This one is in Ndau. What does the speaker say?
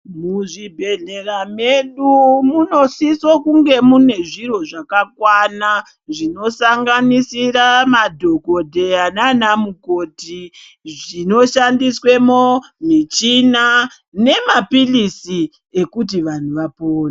Muzvibhehlera medu munosiso kunge mune zviro zvakakwana zvinosanganisira madhogodheya naana mukoti zvino shandiswe mwo, michina nemaphilisi ekuti vanhu vapone.